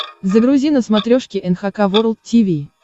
загрузи на смотрешке эн эйч кей волд ти ви